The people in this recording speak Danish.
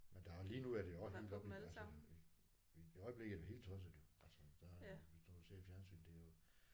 Men der er lige nu er det også helt oppe i altså. I i i øjeblikket er det helt tosset jo altså der hvis du har set fjernsynet det er jo